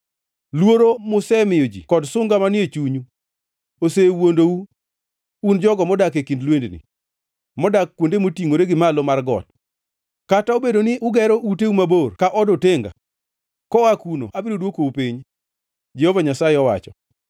Luoro musemiyo ji kod sunga manie chunyu osewuondou, un jogo modak e kind lwendni, modak kuonde motingʼore gi malo mar got. Kata obedo ni ugero uteu mabor ka od otenga, koa kuno abiro dwokou piny,” Jehova Nyasaye owacho.